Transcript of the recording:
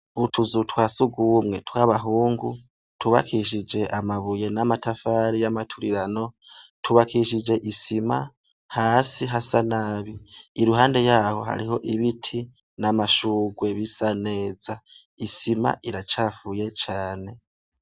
Utuzu twa sugumwe tw'abahungu twubakishije amabuye n'amatafari y'amaturirano, twubakishije isima hasi hasa nabi. Iruhande yaho hariho ibiti n'amashugwe bisa neza, isima iracafuye cane.